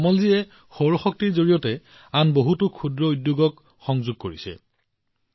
কমলজীয়ে আন বহুতো ক্ষুদ্ৰ উদ্যোগত সৌৰ বিদ্যুতৰ সৈতে সংযোগ কৰিছে